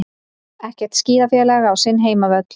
Ekkert skíðafélag á sinn heimavöll